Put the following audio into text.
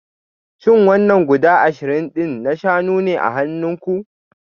Shin wannan guda ashirin din na shanu ne a hannunku?